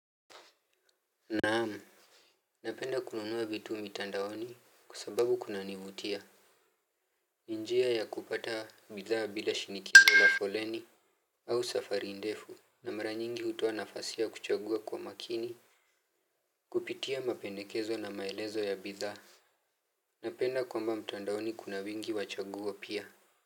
Naam, napenda kununua vitu mitandaoni, kwa sababu kunanivutia. Njia ya kupata bidhaa bila shinikindu la foleni au safari ndefu. Na mara nyingi hutoa nafasi ya kuchagua kwa makini. Kupitia mapendekezo na maelezo ya bidhaa. Napenda kwamba mtandaoni kuna wingi wachaguo pia.